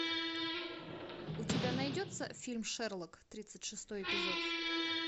у тебя найдется фильм шерлок тридцать шестой эпизод